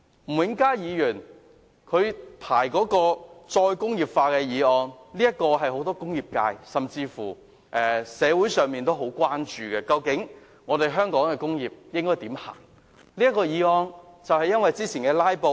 吳永嘉議員提出討論"再工業化"的議案，是很多工業界和社會人士也關注的問題，究竟香港的工業前路應該怎樣走呢？